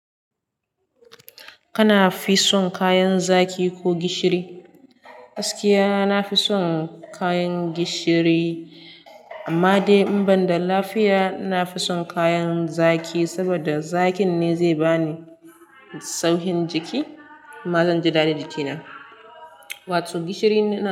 Kana fi son kayan zaki ko gishiri? Gaskiya, na fi son kayan gishiri. Amma dai in banda lafiya, na fi son kayan zaki saboda zakin ne zai bani saukin jiki, kuma zan ji dada jikina. Wato gishiri na.